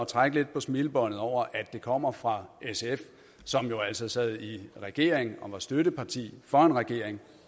trække lidt på smilebåndet over at det kommer fra sf som jo altså sad i regering og var støtteparti for en regering